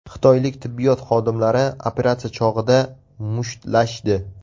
Xitoylik tibbiyot xodimlari operatsiya chog‘ida mushtlashdi.